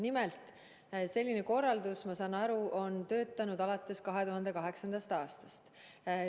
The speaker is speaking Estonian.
Nimelt, selline korraldus, ma saan aru, on kehtinud alates 2008. aastast.